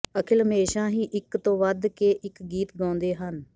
ਅਖਿਲ ਹਮੇਸ਼ਾ ਹੀ ਇੱਕ ਤੋਂ ਵੱਧ ਕੇ ਇੱਕ ਗੀਤ ਗਾਉਂਦੇ ਹਨ